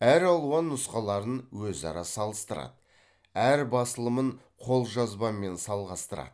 әр алуан нұсқаларын өзара салыстырады әр басылымын қолжазбамен салғастырады